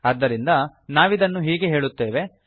ಆದ್ದರಿಂದ ನಾವಿದನ್ನು ಹೀಗೆ ಹೇಳುತ್ತೇವೆ